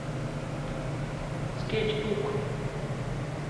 скетчбук